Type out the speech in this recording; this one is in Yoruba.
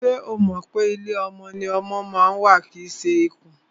Ṣo mọ̀ pé ilé ọmọ ni ọmọ ma ń wà kìí ṣe ikùn?